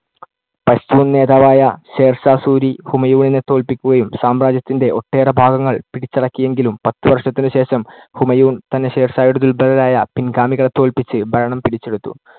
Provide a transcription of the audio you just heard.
പഷ്ടൂൺ നേതാവായ ഷേർഷാ സൂരി, ഹുമയൂണിനെ തോൽപ്പിക്കുകയും സാമ്രാജ്യത്തിന്‍ടെ ഒട്ടേറെ ഭാഗങ്ങള്‍ പിടിച്ചടക്കിയെങ്കിലും പത്ത് വർഷത്തിനു ശേഷം ഹൂമയൂൺ തന്നെ ഷേർഷായുടെ ദുർബ്ബലരായ പിൻഗാമികളെ തോൽപ്പിച്ച് ഭരണം പിടിച്ചെടുത്തു.